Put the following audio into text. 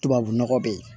Tubabu nɔgɔ be yen